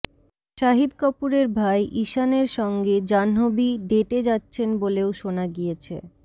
শাহিদ কপূরের ভাই ঈশানের সঙ্গে জাহ্নবী ডেটে যাচ্ছেন বলেও শোনা গিয়েছে